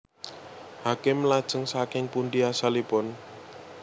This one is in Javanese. Hakim Lajeng saking pundi asalipun